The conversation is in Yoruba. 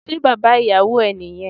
Se baba iyàwò e ni yen?